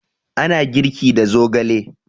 Ana girki da zogale